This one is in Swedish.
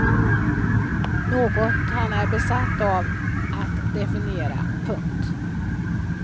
Något han är besatt av att definera. punkt